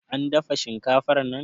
an dafa shinkafar nan